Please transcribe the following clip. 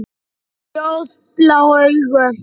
Ljósblá augu.